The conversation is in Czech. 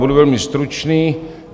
Budu velmi stručný.